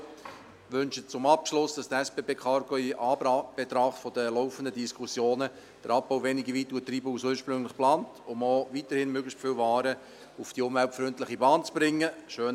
Ich wünsche zum Abschluss, dass die SBB Cargo in Anbetracht der laufenden Diskussionen den Abbau weniger weit treiben als ursprünglich geplant und man weiterhin möglichst viele Waren auf die umweltfreundliche Bahn bringen kann.